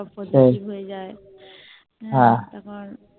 সব কত কি হয়ে যায় হ্যাঁ তখন